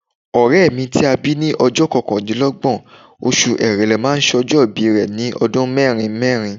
Ọ̀rẹ́ mi ti a bí ní ọjọ́ kọkàndínlọ́gbọ̀n oṣù Èrèlè máa sọjọ́ ìbí rẹ̀ ní ọdún mẹ́rin mẹ́rin.